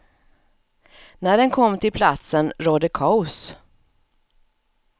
När den kom till platsen rådde kaos.